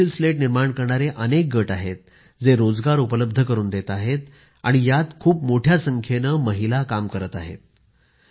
इथे pencil slate निर्माण करणारे अनेक गट आहेत जे रोजगार उपलब्ध करुन देत आहेत आणि यात खूप मोठ्या संख्येने महिला काम करत आहेत